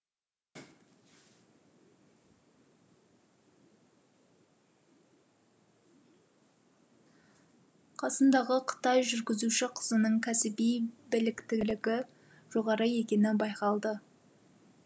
қасындағы қытай жүргізуші қызының кәсіби біліктілігі жоғары екені байқалды